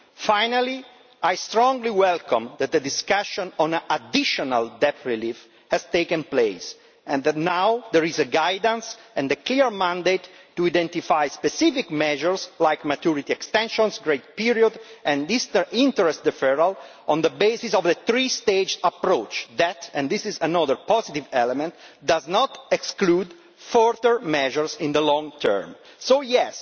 Finally, I strongly welcome that the discussion on additional debt relief has taken place and that now there is guidance and a clear mandate to identify specific measures like maturity extensions, grace periods and this, the interest deferral, on the basis of a three stage approach that and this is another positive element does not exclude further measures in the long term. So yes,